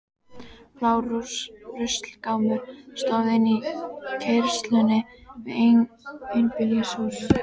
Blár ruslagámur stóð í innkeyrslunni við einbýlishús